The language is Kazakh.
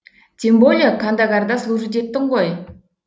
тем более кандагарда служить еттің ғой